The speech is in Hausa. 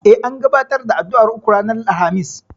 E, an gabatar da addu'ar uku ranar Alhamis.